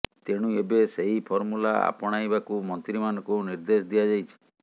ତେଣୁ ଏବେ ସେହି ଫର୍ମୂଲା ଆପଣାଇବାକୁ ମନ୍ତ୍ରୀମାନଙ୍କୁ ନିର୍ଦ୍ଦେଶ ଦିଆଯାଇଛି